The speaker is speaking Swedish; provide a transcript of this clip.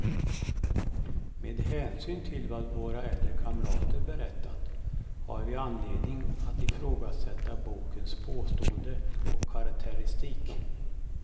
Med hänsyn till vad våra äldre kamrater berättat, har vi anledning att ifrågasätta bokens påståenden och karaktäristik.